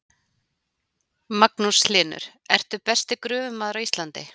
Magnús Hlynur: Ertu besti gröfumaður á Íslandi?